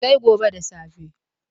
Sai gobe da safe.